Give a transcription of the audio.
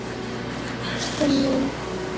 Bless ástin mín.